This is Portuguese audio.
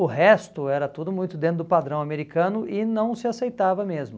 O resto era tudo muito dentro do padrão americano e não se aceitava mesmo.